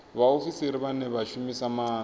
vhaofisiri vhane vha shumisa maanda